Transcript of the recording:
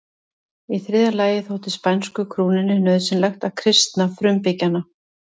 Í þriðja lagi þótti spænsku krúnunni nauðsynlegt að kristna frumbyggjana.